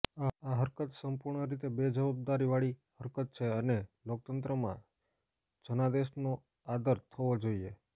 આ હરકત સંપૂર્ણ રીતે બેજવાબદારીવાળી હરકત છે અને લોકતંત્રમાં જનાદેશનો આદર થવો જોઈએ